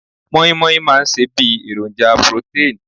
Moin moin máa ń ṣe bí èròjà protein